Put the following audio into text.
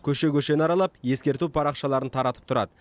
көше көшені аралап ескерту парақшаларын таратып тұрады